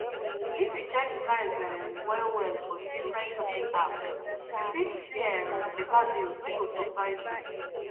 if you check price um well well for different shopping apps you fit see um better deals wey go surprise you